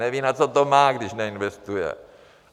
Neví, na co to má, když neinvestuje.